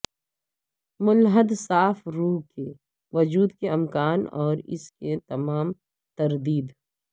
ملحد صاف روح کے وجود کے امکان اور اس کے تمام تردید